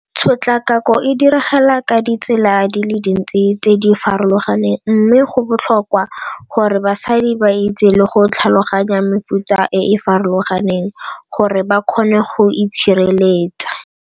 Tshotlakako e diragala ka ditsela di le dintsi tse di farologaneng mme go botlhokwa gore basadi ba itse le go tlhaloganya mefuta e e farologaneng gore ba kgone go itshireletsa.